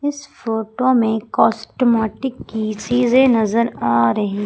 इस फोटो में कास्टमेटिक की चीज नजर आ रही--